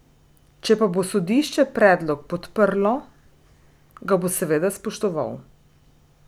Če pa bo sodišče predlog podprlo, ga bo seveda spoštoval.